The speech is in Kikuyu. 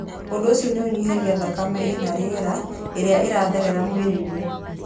Ũndũ ũcio nĩ ũnyihagia thakame ĩna rĩera ĩrĩa ĩratherera mwĩrĩ-inĩ.